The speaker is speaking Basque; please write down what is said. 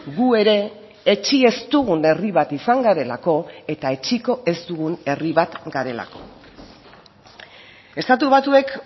gu ere etsi ez dugun herri bat izan garelako eta etsiko ez dugun herri bat garelako estatu batuek